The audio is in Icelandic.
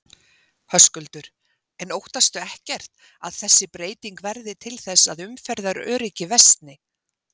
Höskuldur: En óttastu ekkert að þessi breyting verði til þess að umferðaröryggi versni?